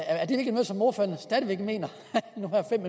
er det ikke noget som ordføreren stadig væk mener